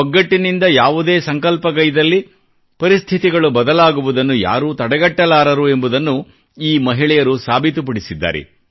ಒಗ್ಗಟ್ಟಿನಿಂದ ಯಾವುದೇ ಸಂಕಲ್ಪಗೈದಲ್ಲಿ ಪರಿಸ್ಥಿತಿಗಳು ಬದಲಾಗುವುದನ್ನು ಯಾರೂ ತಡೆಗಟ್ಟಲಾರರು ಎಂಬುದನ್ನು ಈ ಮಹಿಳೆಯರು ಸಾಬೀತುಪಡಿಸಿದ್ದಾರೆ